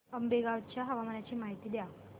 आंबेवंगन च्या हवामानाची माहिती द्या